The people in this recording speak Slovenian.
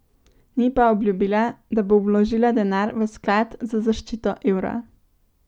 Ni pa obljubila, da bo vložila denar v Sklad za zaščito evra.